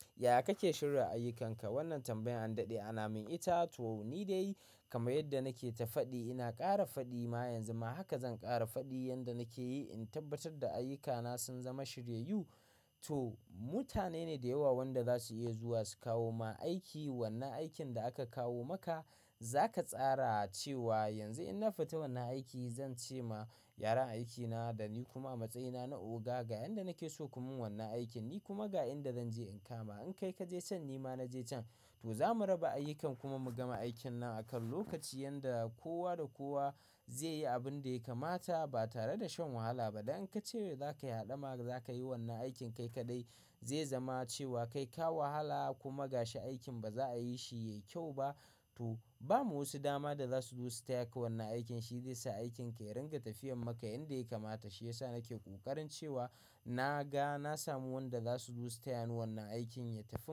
Yaya kake shirya ayyukanka? Wannan tambayan an daɗe ana min ita. To ni dai kama yadda nake ta faɗi ina ƙara faɗi ma yanzu ma haka zan ƙara faɗi yanda nake yi in tabbatar da ayyukana sun zama shiryayyu. To mutane ne da yawa wanda za su iya zuwa su kawo ma aiki. Wannan aikin da aka kawo maka za ka tsara cewa yanzu in na fita wannan aiki zan ce ma yaran aikina da ni kuma matsayina na oga ga yanda nake so ku min wannan aikin, ni kuma ga inda zan je in kama. In kai ka je can ni ma na je can to za mu raba ayyuka kuma mu gama aikin nan akan lokaci yanda kowa da kowa zai yi abin da ya kamata ba tare da shan wahala ba. Dan in ka ce wa za ka haɗa ma za ka yi wannan aikin kai kaɗai zai zama cewa kai ka wahala kuma gashi aikin ba za a yi shi yayi kyau ba. To ba mu wasu dama da za su zo su taya ka wannan aikin shi zai sa aikin ka ya ringa tafiyar maka yanda ya kamata shi ya sa nake ƙoƙarin cewa na ga na samu wanda za su zo su taya ni wannan aikin ya tafi.